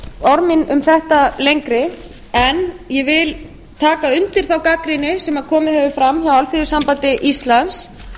mín um þetta lengri en ég vil taka undir þá gagnrýni sem komið hefur fram hjá alþýðusambandi íslands